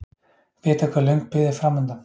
Vita hve löng bið er framundan